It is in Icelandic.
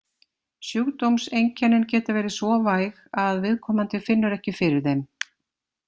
Sjúkdómseinkennin geta verið svo væg að viðkomandi finnur ekki fyrir þeim.